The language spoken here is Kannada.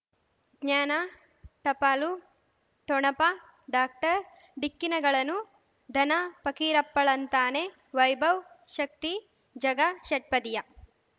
ಜ್ಞಾನ ಟಪಾಲು ಠೊಣಪ ಡಾಕ್ಟರ್ ಢಿಕ್ಕಿ ಣಗಳನು ಧನ ಫಕೀರಪ್ಪ ಳಂತಾನೆ ವೈಭವ್ ಶಕ್ತಿ ಝಗಾ ಷಟ್ಪದಿಯ